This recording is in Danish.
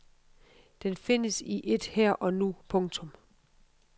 Den findes i et her og nu. punktum